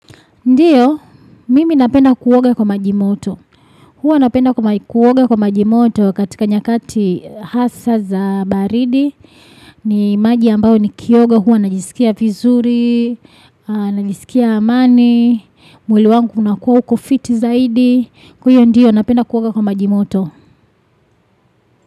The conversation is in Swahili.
Ndiyo, mimi napenda kuoga kwa maji moto. Huwa napenda kuoga kwa maji moto katika nyakati hasa za baridi. Ni maji ambayo ni kioga huwa najisikia vizuri, najisikia amani, mwili wangu unakuwa uko fiti zaidi. Huyo ndiyo napenda kuwoga kwa maji moto.